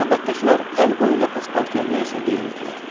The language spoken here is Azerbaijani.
Məbəddəkilər əl qol ilə Paspartuya nə isə deyirdilər.